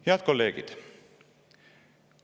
Head kolleegid!